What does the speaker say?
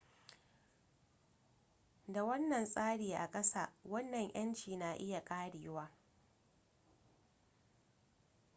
da wannan tsari a kasa wannan 'yanci na iya karewa